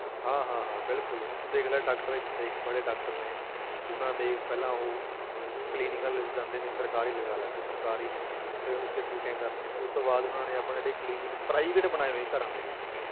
ਹਾਂ ਹਾਂ ਹਾਂ ਬਿਲਕੁਲ ਹੁਣ ਤੂੰ ਦੇਖ ਲੈ doctor ਇੱਕ ਤੇ ਇੱਕ ਵਾਲੇ doctor ਨੇ ਉਹਨਾਂ ਦੇ ਪਹਿਲਾਂ ਉਹ clinic ਵੱਲ ਜਾਂਦੇ ਨੇ ਸਰਕਾਰੀ ਲਗਾ ਲਾ ਤੂੰ ਸਰਕਾਰੀ ਨੇ ਉੱਥੇ ਉੱਥੇ duties ਕਰਦੇ ਨੇ, ਉਹ ਤੋਂ ਬਾਅਦ ਉਹਨਾਂ ਨੇ ਆਪਣੇ ਜਿਹੜੇ clinic private ਬਣਾਏ ਹੋਏ ਘਰਾਂ ਦੇ ਵਿੱਚ,